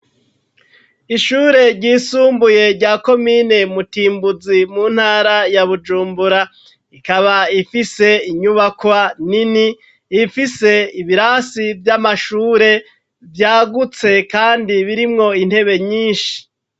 Ishure ryisumbuye ,rya komine mutimbuzi, mu ntara ya bujumbura ,ikaba ifise inyubakwa nini ,ifise ibirasi vy'amashure vyagutse kandi birimwo intebe nyinshi.